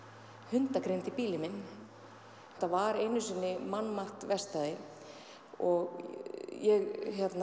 hundagrind í bílinn minn þetta var einu sinni mannmargt verkstæði og ég